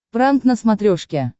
пранк на смотрешке